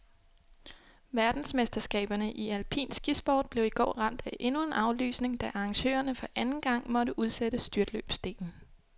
Verdensmesterskaberne i alpin skisport blev i går ramt af endnu en aflysning, da arrangørerne for anden gang måtte udsætte styrtløbsdelen.